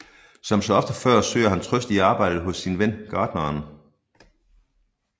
Som så ofte før søger han trøst i arbejdet hos sin ven gartneren